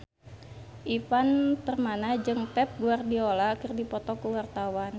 Ivan Permana jeung Pep Guardiola keur dipoto ku wartawan